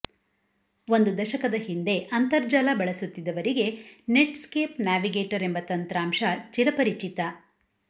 ಒಂದು ದಶಕದ ಹಿಂದೆ ಅಂತರ್ಜಾಲ ಬಳಸುತ್ತಿದ್ದವರಿಗೆ ನೆಟ್ ಸ್ಕೇಪ್ ನ್ಯಾವಿಗೇಟರ್ ಎಂಬ ತಂತ್ರಾಂಶ ಚಿರಪರಿಚಿತ